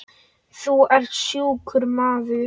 Þú ert sjúkur maður.